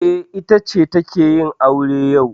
E, ita ce take yin aure yau.